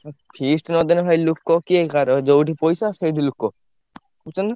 ଆଉ feast ନଦେଲେ ଭାଇ ଲୋକ କିଏ କାହାର ଯୋଉଠି ପଇସା ସେଇଠି ଲୋକ। ।